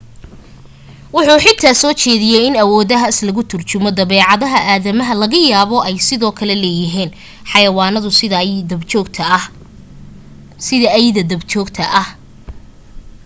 wuxu xitaa soo jeediyay in awoodahaas lagu turjumayo dabeecadaha aadamaha laga yaabo ay sidoo kale leeyihiin xayawaanadu sida ayda dab joogta ah